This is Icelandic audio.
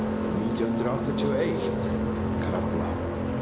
nítján hundruð áttatíu og eitt Krafla